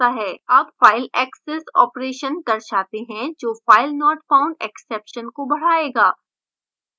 अब file access operation दर्शाते हैं जो filenotfoundexception को बढायेगा